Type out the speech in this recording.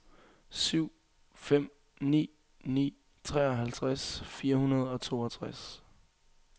syv fem ni ni treoghalvtreds fire hundrede og toogtres